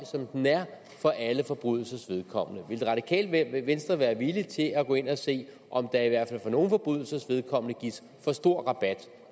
som den er for alle forbrydelsers vedkommende vil det radikale venstre være villig til at gå ind at se om der i hvert fald for nogle forbrydelsers vedkommende gives for stor rabat